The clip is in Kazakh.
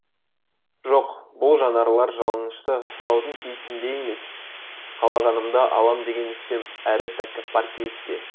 жоқ бұл жанарлар жалынышты сұраудың кейіпінде емес қалағанымды алам деген үстем әрі тәкаппар кейіпте